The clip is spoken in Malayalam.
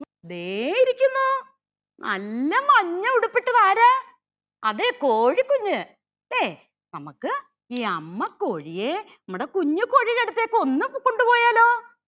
ദേ ഇരിക്കുന്നു നല്ല മഞ്ഞ ഉടുപ്പിട്ടത് ആരാ അതേ കോഴിക്കുഞ്ഞ് ലേ നമക്ക് ഈ അമ്മ കോഴിയെ നമ്മുടെ കുഞ്ഞ്‌ കോഴിയുടെ അടുത്തേക് ഒന്ന് കൊണ്ടുപോയാലോ